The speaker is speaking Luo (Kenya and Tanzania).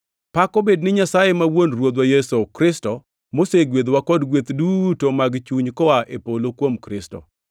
Pak obed ni Nyasaye ma wuon Ruodhwa Yesu Kristo, mosegwedhowa kod gweth duto mag chuny koa e polo kuom Kristo.